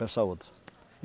Essa outra.